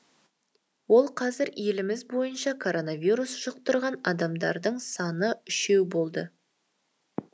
ол қазір еліміз бойынша коронавирус жұқтырған адамдардың саны үшеу болды